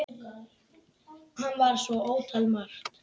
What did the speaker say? Hann var svo ótal margt.